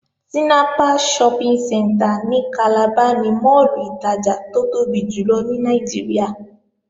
Tinapa Shopping Centre ní Calabar ni máàlù ìtajà tó tóbi jùlọ ní Nàìjíríà